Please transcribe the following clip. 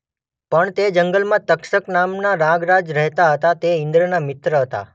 પણ તે જંગલમાં તક્ષક નામના નાગરાજ રહેતા હતાં તે ઈંદ્રના મિત્ર હતાં.